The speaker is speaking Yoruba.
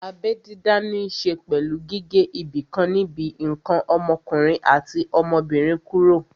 Abẹ́ dídá ní ṣe pẹ̀lú gígé ibìkan níbi ǹkan ọmọkùnrin àti ọmọbìnrin kúrò